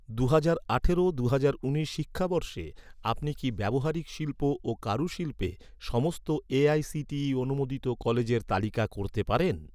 দুহাজার আঠারো দুহাজার উনিশ শিক্ষাবর্ষে, আপনি কি ব্যবহারিক শিল্প ও কারুশিল্পে সমস্ত এ.আই.সি.টি.ই অনুমোদিত কলেজের তালিকা করতে পারেন?